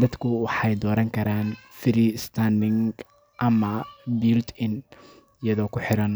dadku waxay dooran karaan freestanding ama built-in aydha oo ku xiran.